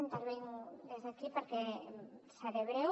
intervinc des d’aquí perquè seré breu